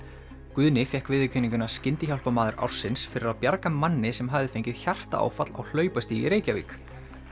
Guðni fékk viðurkenninguna Skyndihjálparmaður ársins fyrir að bjarga manni sem hafði fengið hjartaáfall á í Reykjavík